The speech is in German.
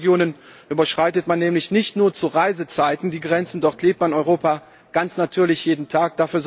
In Grenzregionen überschreitet man nämlich nicht nur zu Reisezeiten die Grenzen, dort lebt man Europa ganz natürlich jeden Tag.